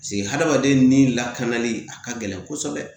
Paseke hadamaden ni lakanali a ka gɛlɛn kosɛbɛ